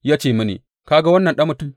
Ya ce mini, Ka ga wannan, ɗan mutum?